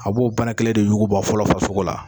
A b'o ban kelen de yuguba fɔlɔ farisogo la